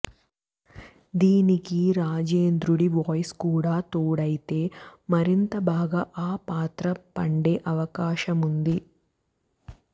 దీనికి రాజేంద్రుడి వాయిస్ కూడా తోడైతే మరింత బాగా ఆ పాత్ర పండే అవకాశముంది